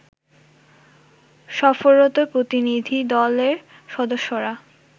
সফররত প্রতিনিধিদলের সদস্যরা